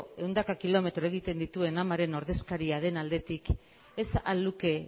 ehundaka kilometro egiten dituen amaren ordezkaria den aldetik ez ahal luke